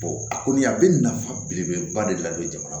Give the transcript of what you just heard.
a kɔni a bɛ nafa belebeleba de ladon jamana